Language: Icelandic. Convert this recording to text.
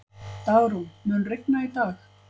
Dagrún, mun rigna í dag?